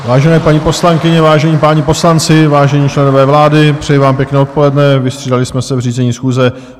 Vážené paní poslankyně, vážení páni poslanci, vážení členové vlády, přeji vám pěkné odpoledne, vystřídali jsme se v řízení schůze.